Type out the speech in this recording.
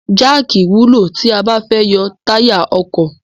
Jáàkì wúlò tí a bá fẹ́ yọ táyà ọkọ̀.